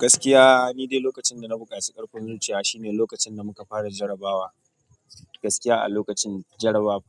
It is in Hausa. Gaskiya ni dai lokacin da na buƙaci ƙarfin zuciya shine lokacin da muka fara jarrabawa. Gaskiya a lokacin jarrabawa